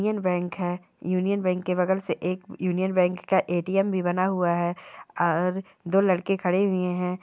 Union bank है। Union bank के बगल से एक यूनियन बैंक का एटीएम् भी बना हुआ है और दो लड़के खड़े हुए हैं।